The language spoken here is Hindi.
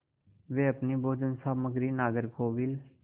वे अपनी भोजन सामग्री नागरकोविल